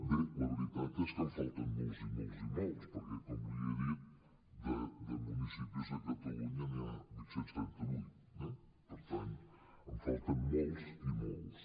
bé la veritat és que en falten molts i molts i molts perquè com li he dit de municipis a catalunya n’hi ha vuit cents i trenta vuit eh per tant en falten molts i molts